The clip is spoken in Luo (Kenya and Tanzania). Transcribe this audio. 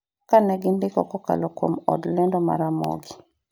kane gindiko kokalo kuom od lendo ma Ramogi